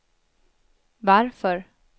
varför